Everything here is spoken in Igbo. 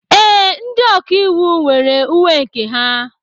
Ee, ndị ọkà íwú nwere uwe nke ha.